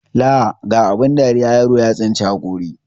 Laa ga abun dariya, yaro ya tsinci haƙori.